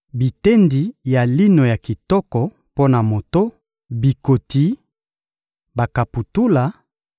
bitendi ya lino ya kitoko mpo na moto, bikoti, bakaputula